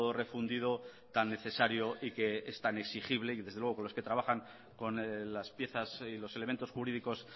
refundido tan necesario y que es tan exigible y desde luego con los que trabajan con las piezas y los elementos jurídicos